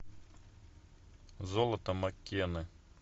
золото маккены